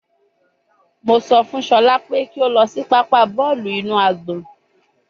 Mo sọ fun Shola pe ki a lọ si papa bọọlu inu agbọn